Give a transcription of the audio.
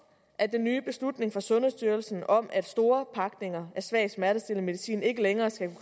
at den nye beslutning fra sundhedsstyrelsen om at store pakninger af svag smertestillende medicin ikke længere skal